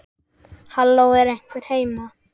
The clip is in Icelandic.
Halló, er einhver heima?